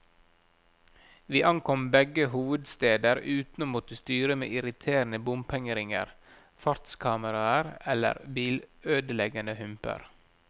Vi ankom begge hovedsteder uten å måtte styre med irriterende bompengeringer, fartskameraer eller bilødeleggende humper.